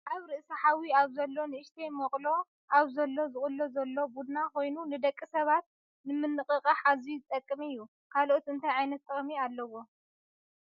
ኣብ ርእሲ ሓዊ ኣብ ዘሎ ንእሽተይ መቅሎ ኣብ ዘሎ ዝቅሎ ዘሎ ቡና ኮይኑ ንደቂ ሰባት ንምንቅቃሕ ኣዝዩ ዝጠቅም እዩ። ካልኦት እንታይ ዓይነት ጥቅሚ ኣለዎ?